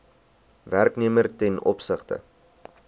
werknemer ten opsigte